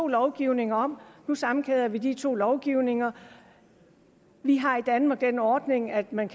lovgivning om nu sammenkæder vi de to slags lovgivning vi har i danmark den ordning at man